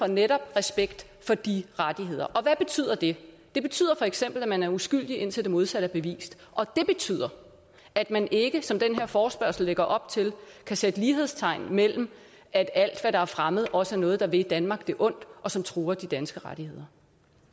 netop respekt for de rettigheder hvad betyder det det betyder feks at man er uskyldig indtil det modsatte er bevist og det betyder at man ikke som den her forespørgsel lægger op til kan sætte lighedstegn mellem at alt hvad der er fremmed også er noget der vil danmark det ondt og som truer de danske rettigheder